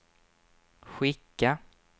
skicka